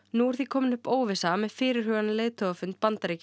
nú er því komin upp óvissa með fyrirhugaðan leiðtogafund Bandaríkjanna